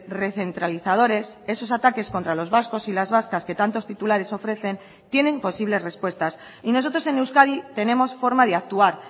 recentralizadores esos ataques contra los vascos y las vascas que tantos titulares ofrecen tienen posibles respuestas y nosotros en euskadi tenemos forma de actuar